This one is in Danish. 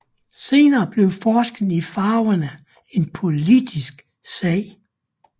Senere blev forskellen i farvene en politisk sag